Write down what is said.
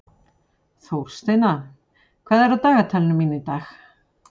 Þórsteina, hvað er á dagatalinu mínu í dag?